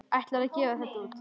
Ætlarðu að gefa þetta út?